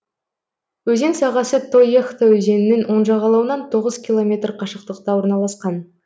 өзен сағасы тоехта өзенінің оң жағалауынан тоғыз километр қашықтықта орналасқан